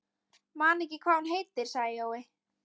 Man ekki hvað hún heitir, sagði Jói.